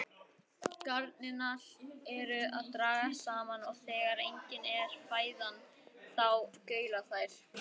Garnirnar eru að dragast saman og þegar engin er fæðan þá gaula þær.